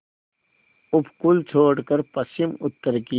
उपकूल छोड़कर पश्चिमउत्तर की